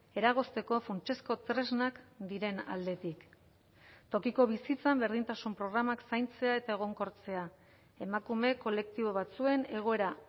eragozteko funtsezko tresnak diren aldetik tokiko bizitzan berdintasun programak zaintzea eta egonkortzea emakume kolektibo batzuen egoera